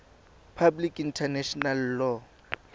public international law